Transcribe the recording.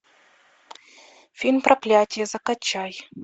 фильм проклятие закачай